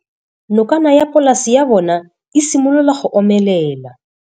Nokana ya polase ya bona, e simolola go omelela.